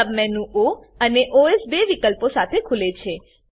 સબ menu ઓ અને OS બે વિકલ્પો સાથે ખુલે છે